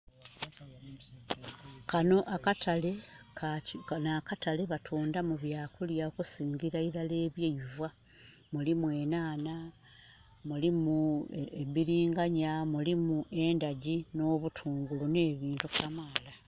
Kano akatale batundamu bya kulya okusingira eilala ebyeiva. Mulimu enhanha, mulimu biringanya, mulimu endhagi no'butungulu ne bintu kamaala